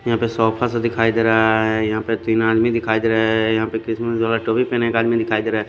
यहां पर सोफा सा दिखाई दे रहा है यहां पे तीन आदमी दिखाई दे रहा है यहां पर टोपी पहना एक आदमी दिखाई दे रहा--